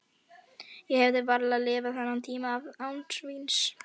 Ég hefði varla lifað þennan tíma af án víns.